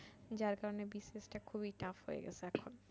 যার কারণে BCS টা খুবই tough হয়ে গেসে এখন ।